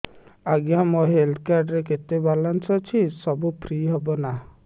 ଆଜ୍ଞା ମୋ health card ରେ କେତେ ବାଲାନ୍ସ ଅଛି ସବୁ ଫ୍ରି ହବ ନାଁ